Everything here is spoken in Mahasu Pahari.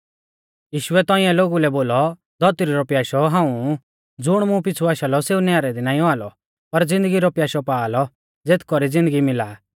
यीशुऐ तौंइऐ लोगु लै बोलौ धौतरी रौ प्याशौ हाऊं ऊ ज़ुण मुं पिछ़ू आशा लौ सेऊ न्यारै दी नाईं औआ लौ पर ज़िन्दगी रौ प्याशौ पा लौ ज़ेथ कौरी ज़िन्दगी मिला आ